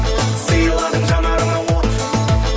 сыйладың жанарыма от